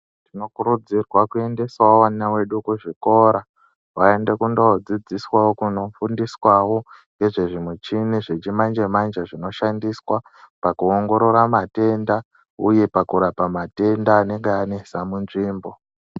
Tinokurudzirwa kuendesawo vana vedu kuzvikora ,vaende kundoodzidziswawo, kunofundiswawo nezvezvimichini dzechimanje-manje, zvinoshandiswa pakuongorora matenda, uye pakurapa matenda, anenga anesa munzvimbo .